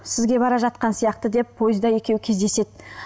сізге бара жатқан сияқты деп пойызда екеуі кездеседі